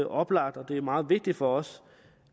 oplagt og det er meget vigtigt for os